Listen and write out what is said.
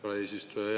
Aitäh, hea eesistuja!